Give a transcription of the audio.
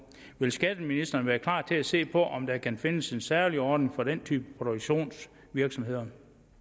vil skatteministeren være klar til at se på om der kan findes en særlig ordning for den type produktionsvirksomheder